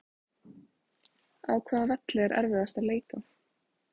Á hvaða velli er erfiðast að leika?